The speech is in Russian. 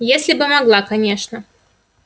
если бы могла конечно